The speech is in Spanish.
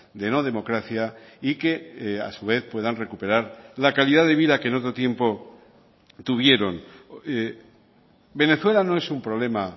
de no democracia y que a su vez puedan recuperar la calidad de vida que en otro tiempo tuvieron venezuela no es un problema